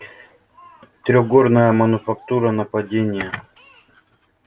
трехгорная мануфактура нападение